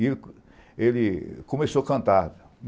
E ele começou a cantar.